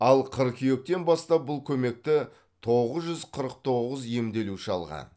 ал қыркүйектен бастап бұл көмекті тоғыз жүз қырық тоғыз емделуші алған